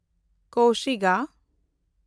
ᱠᱚᱥᱤᱜᱟ